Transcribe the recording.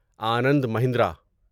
Anand Mahindra